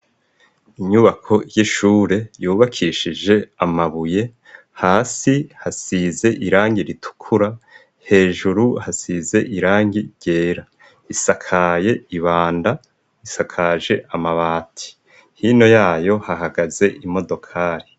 Inyubako y'ishure yubakishije amabuye hasi hasize irangi ritukura hejuru hasize irangi ryera isakaye ibanda isakaje amabati hino yayo hahagaze imodokari.